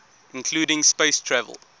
including space travel